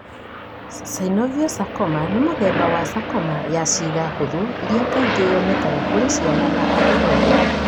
Synovial sarcoma nĩ mũthemba wa sarcoma ya ciĩga hũthũ ĩrĩa kaingĩ yonekaga kũrĩ ciana na andũ ethĩ.